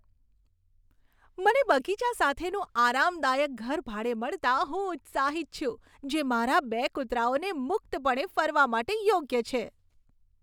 મને બગીચા સાથેનું આરામદાયક ઘર ભાડે મળતાં હું ઉત્સાહિત છું, જે મારા બે કૂતરાઓને મુક્તપણે ફરવા માટે યોગ્ય છે.